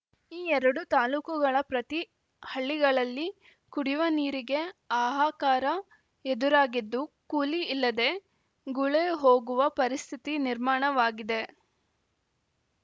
ಈ ಎರಡು ತಾಲೂಕುಗಳ ಪ್ರತಿ ಹಳ್ಳಿಗಳಲ್ಲಿ ಕುಡಿಯುವ ನೀರಿಗೆ ಹಾಹಾಕಾರ ಎದುರಾಗಿದ್ದು ಕೂಲಿ ಇಲ್ಲದೆ ಗುಳೆ ಹೋಗುವ ಪರಿಸ್ಥಿತಿ ನಿರ್ಮಾಣವಾಗಿದೆ